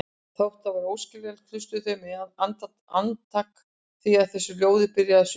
Þótt það væri óskiljanlegt, hlustuðu þau með andakt því á þessu ljóði byrjar sumarið.